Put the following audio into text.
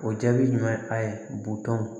O jaabi ɲuman ye a ye butɔn